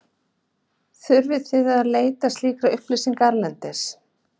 Þurfið þið oft að leita slíkra upplýsinga erlendis?